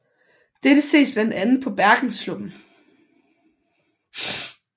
Dette ses blandt andet på bergenssluppen